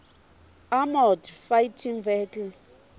armoured fighting vehicles